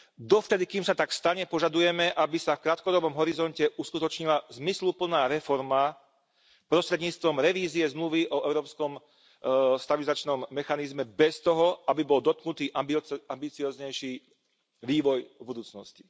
Dovtedy, kým sa tak stane, požadujeme, aby sa v krátkodobom horizonte uskutočnila zmysluplná reforma prostredníctvom revízie zmluvy o Európskom stabilizačnom mechanizme bez toho, aby bol dotknutý ambicióznejší vývoj budúcnosti.